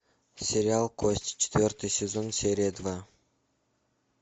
сериал кости четвертый сезон серия два